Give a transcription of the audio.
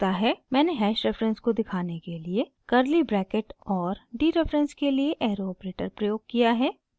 मैंने hash reference को दिखाने के लिए कर्ली ब्रैकेट और डीरेफरेंस के लिए एरो ऑपरेटर प्रयोग किया है